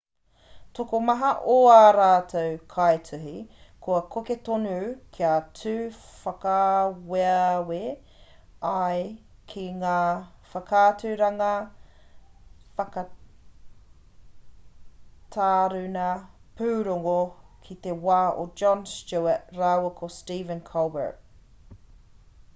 tokomaha o ā rātou kaituhi kua koke tonu kia tū whakaaweawe ai ki ngā whakaaturanga whakataruna pūrongo o te wā a jon stewart rāua ko stephen colbert